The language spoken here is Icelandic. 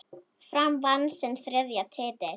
Fram vann sinn þriðja titil.